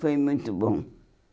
Foi muito bom.